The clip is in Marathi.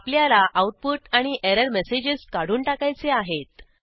आपल्याला आऊटपुट आणि एरर मेसेजेस काढून टाकायचे आहेत